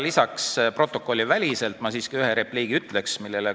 Protokolliväliselt ma siiski ütlen ühe repliigi.